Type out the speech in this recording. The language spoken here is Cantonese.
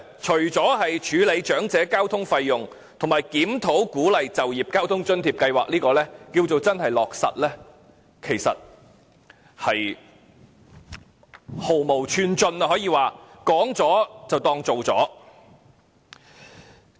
除了處理長者交通費用，以及檢討鼓勵就業交通津貼計劃等落實之外，其餘可說是毫無寸進，說了便當成做了。